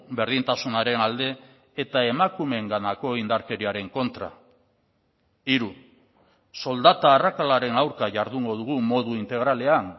berdintasunaren alde eta emakumeenganako indarkeriaren kontra hiru soldata arrakalaren aurka jardungo dugu modu integralean